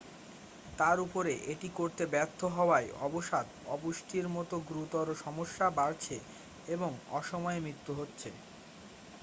তার উপরে এটি করতে ব্যর্থ হওয়ায় অবসাদ অপুষ্টির মতো গুরুতর সমস্যা বাড়ছে এবং অসময়ে মৃত্যু হচ্ছে